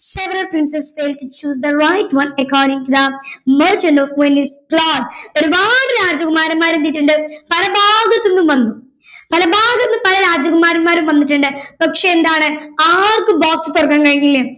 several princess take to choose the right one according to the merchant of venice plot ഒരുപാട് രാജകുമാരന്മാർ എന്ത് ചെയ്തിട്ടുണ്ട് പല ഭാഗത്തുന്നും വന്നു പല ഭാഗത്തുന്നും പല രാജകുമാരന്മാർ വന്നിട്ടുണ്ട് പക്ഷെ എന്താണ് ആർക്കും box തുറക്കാൻ കഴിഞ്ഞില്ല